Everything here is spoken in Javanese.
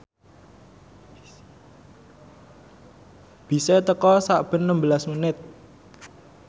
bise teka sakben nembelas menit